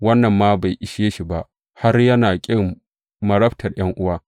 Wannan ma bai ishe shi ba, har yana ƙin marabtar ’yan’uwa.